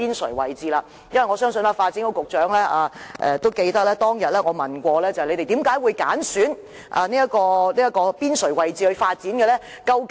我相信發展局局長也記得，當天我曾問他們，為何會揀選邊陲位置作發展用途？